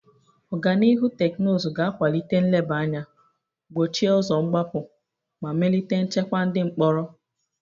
Ọganihu teknụzụ ga akwalite nleba anya, gbochie ụzọ mgbapụ, ma melite nchekwa ndị mkpọrọ.